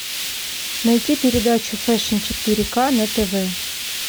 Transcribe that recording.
найти передачу фэшн четыре к на тв